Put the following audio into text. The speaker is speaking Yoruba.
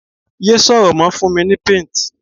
ye sọrọ mo, fún mi ni paint